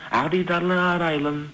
ақ дидарлы арайлым